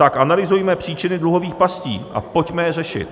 Tak analyzujme příčiny dluhových pastí a pojďme je řešit.